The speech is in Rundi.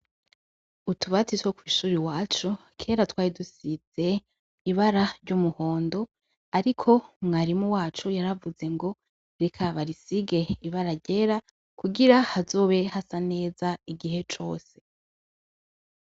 Utubati two ku ishure iwacu kera twari dusize ibara ry'umuhondo, ariko mwarimu wacu yaravuze ngo reka barisige ibara ryera kugira hazobe hasa neza igihe cose.